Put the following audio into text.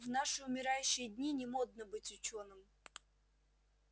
в наши умирающие дни не модно быть учёным